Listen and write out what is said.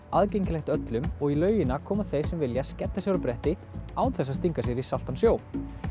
aðgengilegt öllum og í laugina koma þeir sem vilja skella sér á bretti án þess að stinga sér í saltan sjó